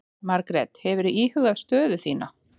Margrét: Hefurðu íhugað stöðu þína?